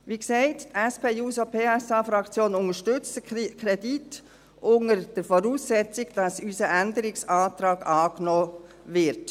Wie gesagt, die SP-JUSO-PSA-Fraktion unterstützt den Kredit, unter der Voraussetzung, dass unser Änderungsantrag angenommen wird.